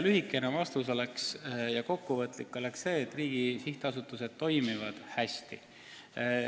Lühikene ja kokkuvõtlik vastus oleks see, et riigi sihtasutused toimivad hästi.